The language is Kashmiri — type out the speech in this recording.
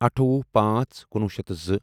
اَٹھووُہ پانژھ کنُوُہ شیتھ تہٕ زٕ